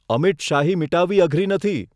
અમીટ શાહી મીટાવવી અઘરી નથી.